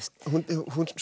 hún